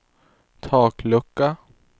taklucka